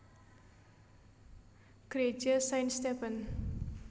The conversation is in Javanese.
Greja Saint Stephen